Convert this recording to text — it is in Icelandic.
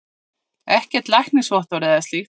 Ekkert læknisvottorð eða slíkt.